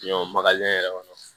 Ɲɔ magalen yɛrɛ kɔnɔ